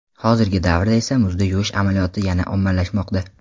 Hozirgi davrda esa muzda yuvish amaliyoti yana ommalashmoqda.